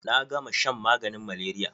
Na gama shan maganin malaria.